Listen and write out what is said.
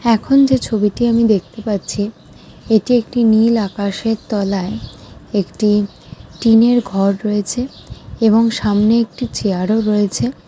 এখন যে ছবিটি আমি দেখতে পাচ্ছি এটি একটি নীল আকাশের তলায় একটি টিনের ঘর রয়েছে এবং সামনে একটি চেয়ার -ও রয়েছে ।